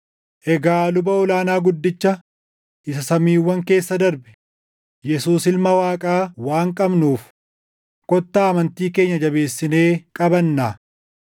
Egaa luba ol aanaa guddicha isa samiiwwan keessa darbe, Yesuus Ilma Waaqaa waan qabnuuf kottaa amantii keenya jabeessinee qabannaa.